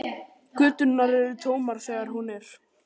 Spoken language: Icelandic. Göturnar eru tómar þegar hún er.